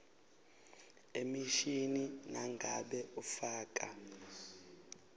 emishini nangabe ufaka